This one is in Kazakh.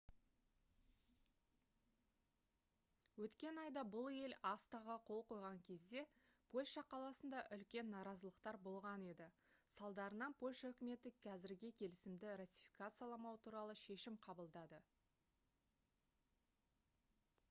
өткен айда бұл ел acta-ға қол қойған кезде польша қаласында үлкен наразылықтар болған еді салдарынан польша үкіметі қазірге келісімді ратификацияламау туралы шешім қабылдады